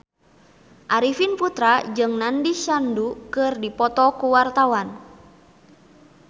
Arifin Putra jeung Nandish Sandhu keur dipoto ku wartawan